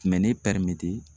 Kumɛ ne